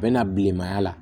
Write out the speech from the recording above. A bɛ na bilenmaya la